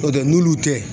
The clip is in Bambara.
N'o tɛ n'olu tɛ